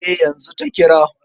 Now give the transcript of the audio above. Eh, yanzu ta kira.